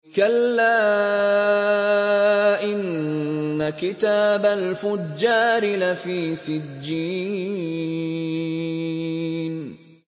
كَلَّا إِنَّ كِتَابَ الْفُجَّارِ لَفِي سِجِّينٍ